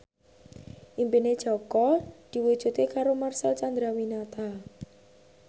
impine Jaka diwujudke karo Marcel Chandrawinata